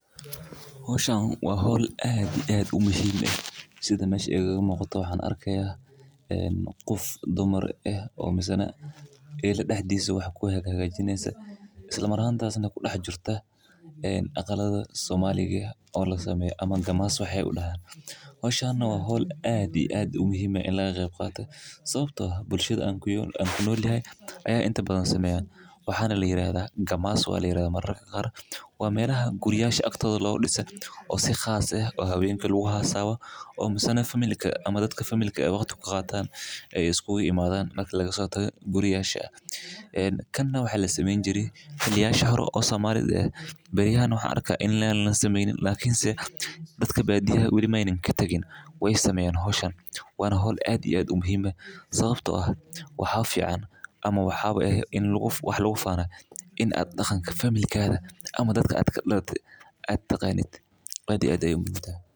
Hawshan waa hol aadi aad u muhiima ah, sida ma shi eegaga maqto waxaan arkayaa, een, qof dumar ah oo masana eey la dhahdhiisa wax ku heeg hageynaysa. Isla maranta aasan ku dhax jirta, een, aqalada Soomaaliyeed oo la sameeyo ama gamaas waxay u dhahaan. Hawshana waa hol aadi aad u muhiima ah in la qeyb qaato sababtoo ah bulshada aan ku yool anku nool yahay ayaa inta badan sameyaan. Waxaan la leeyahay gamaas waa la leeyahay mararka qaar. Waa meel aha guriyayaasha agteeda loo dhiso si khaas ah oo habeenka lagugu haa saawa oo masana family ka ama dadka family ee waqti ku qaataan ay iskugu imaadane marka lagu soo tago guriyayaashu. Eeen kanna wuxuu la sameyn jiray ilaa shahro oo samarid ah. Barihaan waxa arka in la sameynin laakiinse dadka badiyaa weli maine ka tagin way sameeyaan hawshaan. Waanu hol aadi aad u muhiime sababtoo ah wax fiicaan ama wax xaba eh in lagu wax laugu faano inaad dhaqanka familkeeda ama dadka aad ka ladada aad taqaanid qadi aaday u muddo.